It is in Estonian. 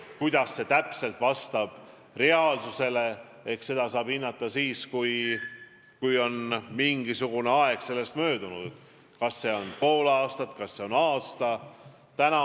Kuidas prognoosid reaalsusele vastavad, eks seda saab näha siis, kui on mingisugune aeg möödunud – on see pool aastat või aasta.